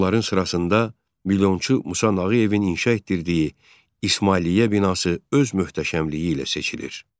Onların sırasında milyonçu Musa Nağıyevin inşa etdirdiyi İsmailiyyə binası öz möhtəşəmliyi ilə seçilir.